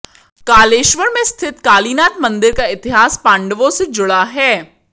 कालेश्वर में स्थित कालीनाथ मंदिर का इतिहास पांडवों से जुड़ा है